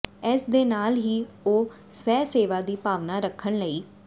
ਇਸ ਦੇ ਨਾਲ ਹੀ ਉਹ ਸਵੈਸੇਵਾ ਦੀ ਭਾਵਨਾ ਰੱਖਣ ਲਈ